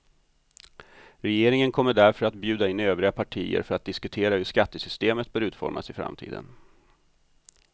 Regeringen kommer därför att bjuda in övriga partier för att diskutera hur skattesystemet bör utformas i framtiden.